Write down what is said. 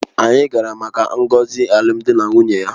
Anyị gara maka ngọzi alụmdi na nwunye ya